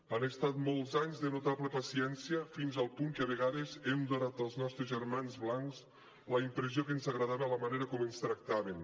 han estat molts anys de notable paciència fins al punt que a vegades hem donat als nostres germans blancs la impressió que ens agradava la manera com ens tractaven